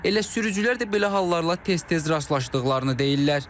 Elə sürücülər də belə hallarla tez-tez rastlaşdıqlarını deyirlər.